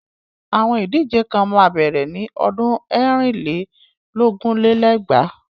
Àwọn Ìdíje kan máa bẹ̀rẹ̀ ni ọdún ẹ̀rin lé lógún lé lẹ́gbàá.